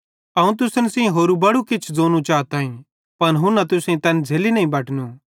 अवं तुसन सेइं होरू भी बड़ू किछ ज़ोनू चाताईं पन हुन्ना तुसेईं तैन झ़ैली नईं बटनू